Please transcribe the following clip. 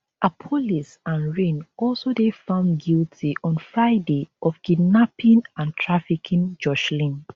appollis and rhyn also dey found guilty on friday of kidnapping and trafficking joshlin